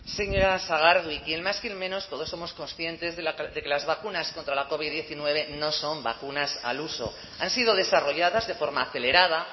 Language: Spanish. señora sagardui quien más quien menos todos somos conscientes de que las vacunas contra la covid diecinueve no son vacunas al uso han sido desarrolladas de forma acelerada